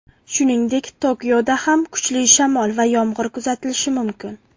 Shuningdek, Tokioda ham kuchli yomg‘ir va shamol kuzatilishi mumkin.